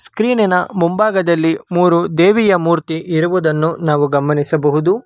ಸ್ಕ್ರೀನಿನ ಮುಂಭಾಗದಲ್ಲಿ ಮೂರು ದೇವಿಯ ಮೂರ್ತಿ ಇರುವುದನ್ನು ನಾವು ಗಮನಿಸಬಹುದು.